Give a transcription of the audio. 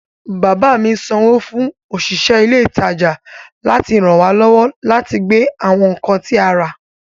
Bàbá mi sanwó fún òṣìṣẹ́ ilé ìtajà láti ràn wá lọ́wọ́ láti gbé àwọn nǹkan tí a rà